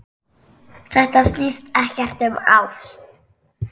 Þetta snýst ekkert um ást.